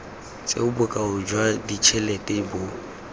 tseo bokao jwa ditšhelete bo